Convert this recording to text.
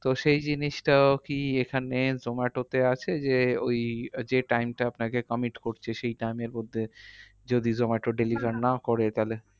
তো সেই জিনিসটা কি এখানে zomato তে আছে? যে ওই যে time টা আপনাকে commit করছে, সেই time এর মধ্যে যদি জোম্যাটো deliver না করে তাহলে